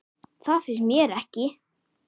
Það finnst mér ekki.